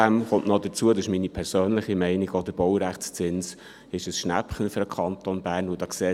Zudem – das ist meine persönliche Meinung – ist auch der Baurechtszins für den Kanton Bern ein Schnäppchen.